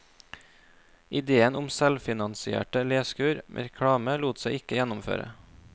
Idéen om selvfinansierte leskur med reklame lot seg ikke gjennomføre.